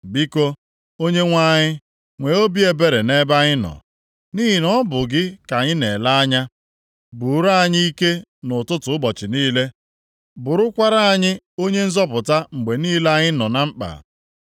Biko, Onyenwe anyị, nwee obi ebere nʼebe anyị nọ, nʼihi na ọ bụ gị ka anyị na-ele anya. Bụụrụ anyị ike nʼụtụtụ ụbọchị niile, bụrụkwara anyị onye nzọpụta mgbe niile anyị nọ na mkpa.